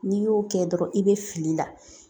N'i y'o kɛ dɔrɔn i be fili la